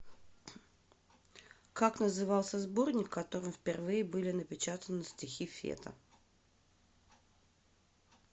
как назывался сборник в котором впервые были напечатаны стихи фета